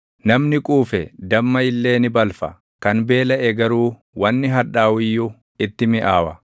Namni quufe damma illee ni balfa; kan beelaʼe garuu wanni hadhaaʼu iyyuu itti miʼaawa.